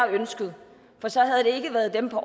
ønsket for så havde det ikke været dem på